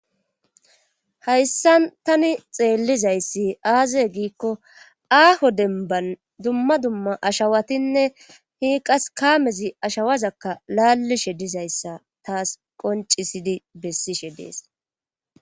Hayssan tani xeellizayssi aaze giikko aaho denban dumma dumma ashawatinne hii qas kaamezi ashawazakka laalishe dizayssa taas qoncisidi bessishe dees.